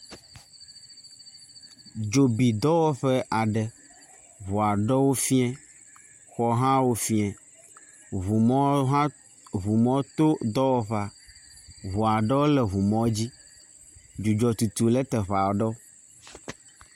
Dzobidɔwɔƒe aɖe, ŋu aɖewo fia, xɔ aɖewo hã fia, ŋu mɔwo hã, ŋu mɔwo hã to dɔwɔƒea. Ŋu aɖewo le ŋumɔ dzi. Dzidzɔ tutum ɖe teƒe aɖewo.